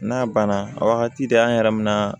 N'a banna a wagati de an yɛrɛ bɛ na